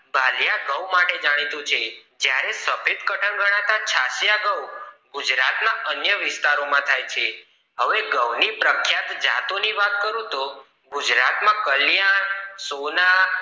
ભાલીયા ઘઉ માટે જાણીતું છે જ્યારે સફેદ કટન ગણાતા છાસીયા ઘઉ ગુજરાત ના અન્ય વિસ્તારો માં થાય છે હવે ઘઉ ની પ્રખ્યાત જતો ની વાત કરું તો ગુજરાત માં કલ્યાણ સોના